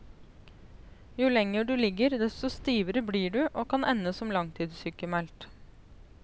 Jo lenger du ligger, desto stivere blir du, og kan ende som langtidssykmeldt.